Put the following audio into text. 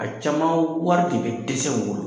A caman wari de bɛ dɛsɛ u bolo